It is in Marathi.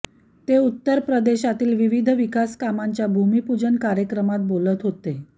ते उत्तर प्रदेशातील विविध विकासकामांच्या भूमिपूजन कार्यक्रमात बोलत होते